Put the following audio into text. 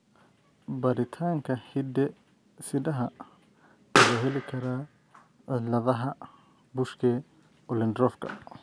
Baaritaanka hidde-sidaha ma loo heli karaa ciladaha Buschke Ollendorffka ?